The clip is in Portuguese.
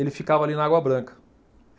Ele ficava ali na Água Branca.